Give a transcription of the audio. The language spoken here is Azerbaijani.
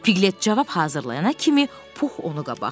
Piklət cavab hazırlayana kimi Pux onu qabaqladı.